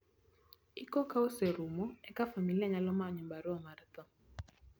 iko ka oserumo eka familia nyalo manyo barua mar tho